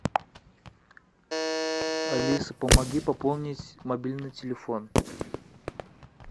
алиса помоги пополнить мобильный телефон